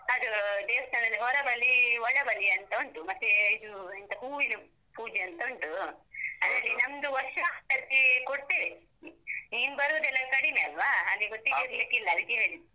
ಅದು ದೇವಸ್ಥಾನದ್ದು ಹೊರಬಲಿ, ಒಳಬಲಿ ಅಂತ ಉಂಟು. ಮತ್ತೇ, ಇದು ಎಂತ ಹೂವಿನ ಪೂಜೆ ಅಂತ ಉಂಟು. ನಮ್ದು ವರ್ಷಮ್ಪ್ರತಿ ಕೊಡ್ತೇವೆ. ನೀನ್ ಬರುದೆಲ್ಲ ಕಡಿಮೆ ಅಲ್ವಾ? ಹಾಗೆ ಗೊತ್ತಿರ್ಲಿಕ್ಕಿಲ್ಲ ಅದಕ್ಕೆ ಹೇಳಿದ್ದು.